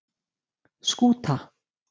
Skúta